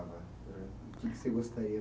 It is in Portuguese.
O que que você gostaria?